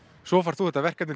svo færð þú þetta verkefni